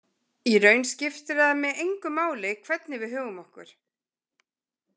Í raun skiptir það mig engu máli hvernig við högum okkur.